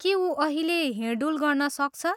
के ऊ अहिले हिँडडुल गर्न सक्छ?